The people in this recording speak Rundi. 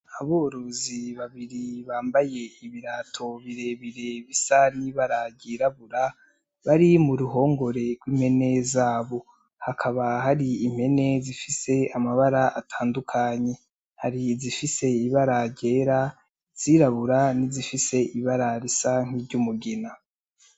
Aborozi babiri bambaye ibirato birebire bisa nibara ryirabura bari mu ruhongore rw'impene zabo, hakaba hari impene zifise amabara atandukanye, hari izifise ibara ryera, izirabura ni zifise ibara risa nki ry'umugina.